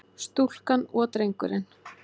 Stúlkan og drengurinn.